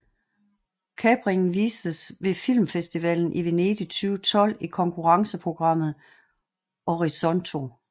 Kapringen vistes ved Filmfestivalen i Venedig 2012 i konkurrenceprogrammet Orizzonti